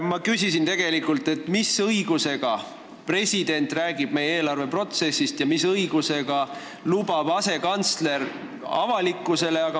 Ma küsisin tegelikult, mis õigusega räägib president meie eelarveprotsessist ja mis õigusega lubab asekantsler sellist asja avalikkusele.